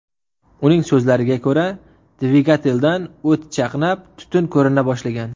Uning so‘zlariga ko‘ra, dvigateldan o‘t chaqnab, tutun ko‘rina boshlagan.